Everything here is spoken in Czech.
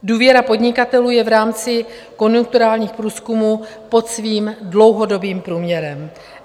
Důvěra podnikatelů je v rámci konjunkturálních průzkumů pod svým dlouhodobým průměrem.